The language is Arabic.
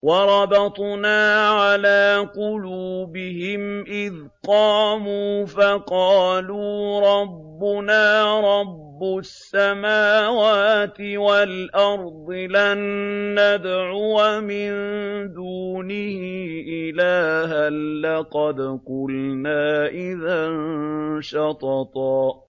وَرَبَطْنَا عَلَىٰ قُلُوبِهِمْ إِذْ قَامُوا فَقَالُوا رَبُّنَا رَبُّ السَّمَاوَاتِ وَالْأَرْضِ لَن نَّدْعُوَ مِن دُونِهِ إِلَٰهًا ۖ لَّقَدْ قُلْنَا إِذًا شَطَطًا